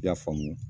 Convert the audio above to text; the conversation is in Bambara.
I y'a faamu